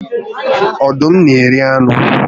Ọdụm na eri anụ